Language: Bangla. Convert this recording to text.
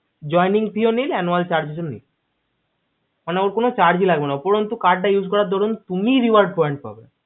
joing fees ও nil anual charge ও nil ওখানে ওর কোনো charge লাগবে না উপরোন্ত card use করার দরুন তুমি reward point পাবে